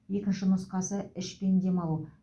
екінші нұсқасы ішпен демалу